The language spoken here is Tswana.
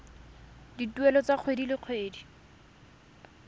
dituelo tsa kgwedi le kgwedi